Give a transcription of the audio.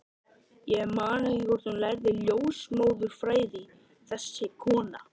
Ég man ekki hvort hún lærði ljósmóðurfræði, þessi kona.